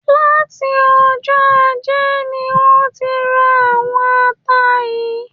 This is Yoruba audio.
Láti ọjọ́ ajé ni wọ́n ti ra àwọn ata yìí